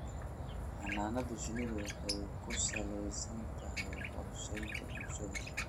Xannaanada shinnidu waxay ku salaysan tahay qorshaynta bulshada.